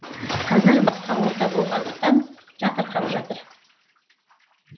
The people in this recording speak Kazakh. қазір басқа орта болғандықтан жатырқап жатыр